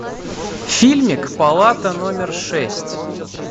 фильмик палата номер шесть